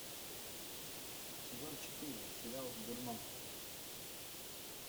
сезон четыре сериал дурман